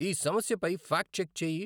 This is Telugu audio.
ఈ సమస్యపై ఫాక్ట్ చెక్ చెయ్యి.